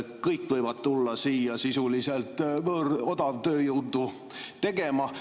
Kõik võivad tulla siia sisuliselt võõrodavtööjõudu tegema.